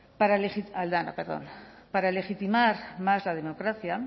para aldana perdón para legitimar más la democracia